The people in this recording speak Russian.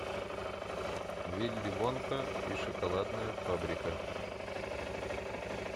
вилли вонка и шоколадная фабрика